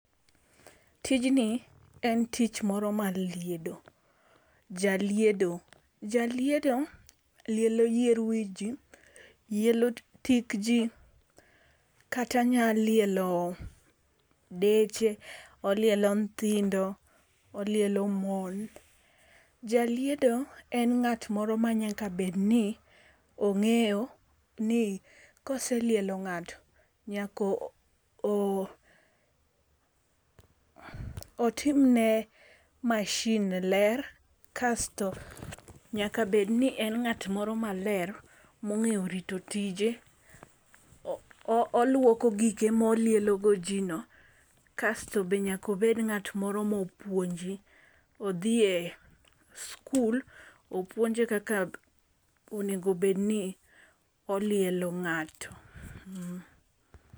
Tijni en tich moro mar liedo. Jaliedo jaliedo lielo yier wiji, lielo tik jii kata nya lielo deche, olielo nyithindo, olielo mon. Jaliedo en ng'at moro ma nyaka bed ni ong'eyo ni koselielo ng'ato nyako otim ne masin ne ler kasto nyaka bed ni en ng'at moro maler mong'eyo rito tije, oluoko gike molielo go jii no, kasto be nyako bed ngat moro mopuonji. Odhi e skul opuonje kaka onego bed ni olielo ng'ato.